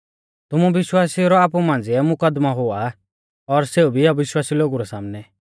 तुमु विश्वासिऊ रौ आपु मांझ़िऐ मुकदमौ हुआ और सेऊ भी अविश्वासी लोगु रै सामनै